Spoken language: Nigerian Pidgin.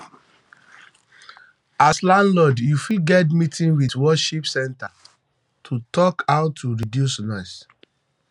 as landlord um you fit get meeting with worship centre to talk how to reduce noise